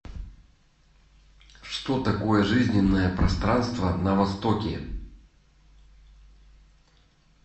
что такое жизненное пространство на востоке